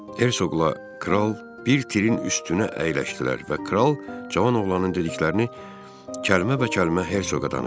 Hersoqla kral bir tirin üstünə əyləşdilər və kral cavan oğlanın dediklərini kəlmə-bə-kəlmə Hersoqa danışdı.